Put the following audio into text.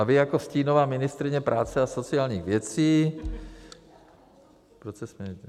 A vy jako stínová ministryně práce a sociálních věcí - proč se smějete?